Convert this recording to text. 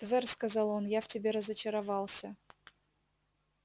твер сказал он я в тебе разочаровался